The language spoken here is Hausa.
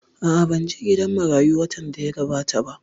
A'a, ban je gidan marayu watan da ya gabata ba